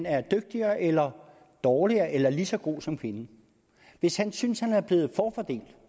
er dygtigere eller dårligere eller lige så god som kvinden hvis han synes at han er blevet forfordelt